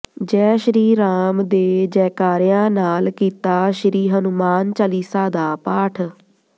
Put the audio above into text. ਜੈ ਸ਼੍ਰੀ ਰਾਮ ਦੇ ਜੈਕਾਰਿਆਂ ਨਾਲ ਕੀਤਾ ਸ਼੍ਰੀ ਹਨੂੰਮਾਨ ਚਾਲੀਸਾ ਦਾ ਪਾਠ